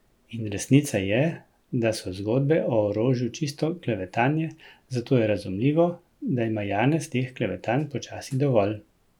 In resnica je, da so zgodbe o orožju čisto klevetanje, zato je razumljivo, da ima Janez teh klevetanj počasi dovolj.